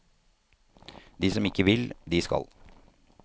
De som ikke vil, de skal.